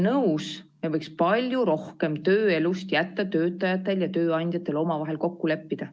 Nõus, me võiks palju rohkem tööelust jätta töötajatel ja tööandjatel omavahel kokku leppida.